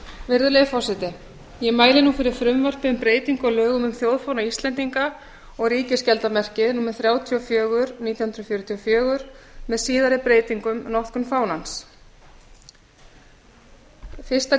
virðulegi forseti ég mæli nú fyrir frumvarpi um breytingu á lögum um þjóðfána íslendinga og ríkisskjaldarmerkið númer þrjátíu og fjögur nítján hundruð fjörutíu og fjögur með síðari breytingum notkun fánans fyrstu